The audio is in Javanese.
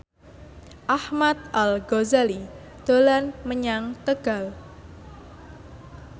Ahmad Al Ghazali dolan menyang Tegal